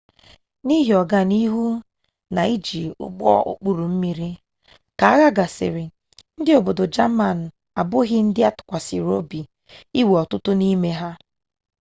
n'ihi ọga n'ihu ha n'iji ụgbọ okpuru mmiri ka agha gasịrị ndị obodo jamani abụghị ndị atụkwasịrị obi inwe ọtụtụ n'ime ha